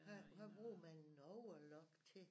Hvad hvad bruger man en overlock til